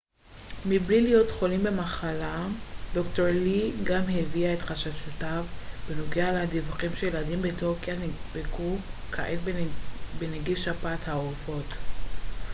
"ד""ר לי גם הביע את חששותיו בנוגע לדיווחים שילדים בטורקיה נדבקו כעת בנגיף שפעת העופות a h5n1 מבלי להיות חולים במחלה.